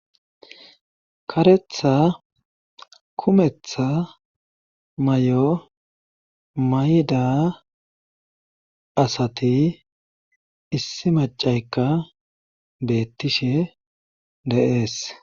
Karetha kumetha may7o mayda asati issi macayka beettishe deees.